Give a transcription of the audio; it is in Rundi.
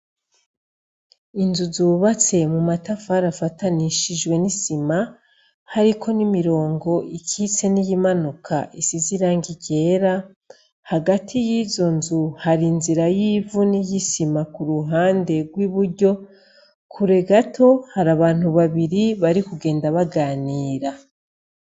Inzu zubatse mumatafari afatanishijwe n'isima hariko n'imirongo ikitse niyimanuka isize irangi ryera hagati yizo nzu hari inzira yivu niyisima kuruhande rw’iburyo, kure gato hari abantu babiri barikugenda baganira.